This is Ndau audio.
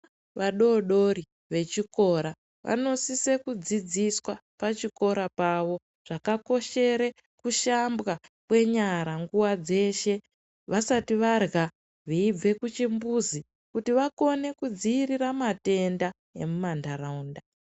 Vadodori vechikora vanosise kudzidziswa pachikora pavo zvakakoshere kushambwa kwenyara nguwa dzeshe vasati varya, veibve kuchimbuzi, kuti vakone kudzivirira matenda emuma ntaraunda.